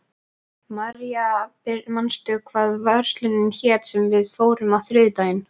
Marja, manstu hvað verslunin hét sem við fórum í á þriðjudaginn?